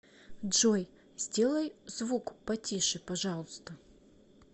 джой сделай звук потише пожалуйста